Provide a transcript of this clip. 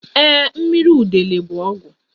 Ee, mmiri udele bụ ọgwụ.